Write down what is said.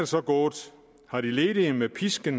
så gået er de ledige blevet pisket